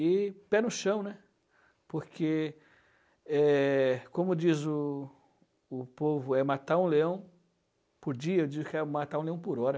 E pé no chão, né, porque eh, como diz o povo, é matar um leão por dia, eu digo que é matar um leão por hora.